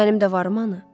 Mənim də varımdı ha.